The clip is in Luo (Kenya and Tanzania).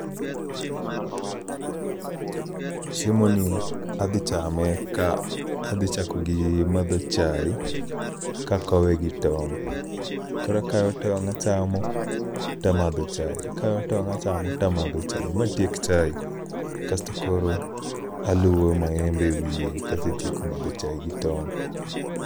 Chiemo ni adhi chame ka adhi chako gi madho chae, kakowe gi tong'. Korakawo tong' achamo tamadho chae, akawo tong' achamo tamadho chae, matiek chae. Kasto koro aluwo maembe e wiye kasetieko madho chae gi tong'.